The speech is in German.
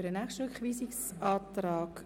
Für mehr reicht die Redezeit nicht.